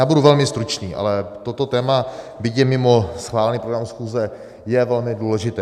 Já budu velmi stručný, ale toto téma, byť je mimo schválený program schůze, je velmi důležité.